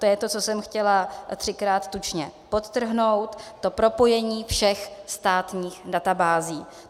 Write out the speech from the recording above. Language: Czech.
To je to, co jsem chtěla třikrát tučně podtrhnout, to propojení všech státních databází.